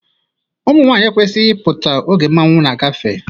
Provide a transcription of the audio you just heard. Ụmụnwaanyị ekwesiro ịpụta oge mmanwụ na-agafe.